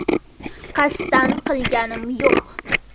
Qasddan qilganim yo‘q.